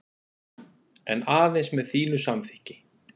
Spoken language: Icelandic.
En aðeins með þínu samþykki.